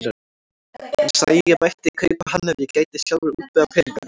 Hann sagði að ég mætti kaupa hann ef ég gæti sjálfur útvegað peningana.